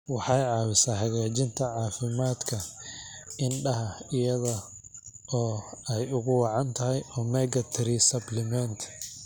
Waxay caawisaa hagaajinta caafimaadka indhaha iyada oo ay ugu wacan tahay omega-3 supplements.